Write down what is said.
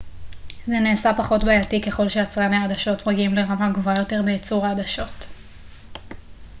זה נעשה פחות בעייתי ככל שיצרני העדשות מגיעים לרמה גבוהה יותר בייצור העדשות